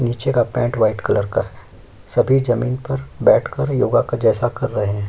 नीचे का pant white colour का है। सफेद ज़मीन पर बैठ कर योगा का जैसा कर रहे हैं।